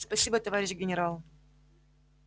спасибо товарищ генерал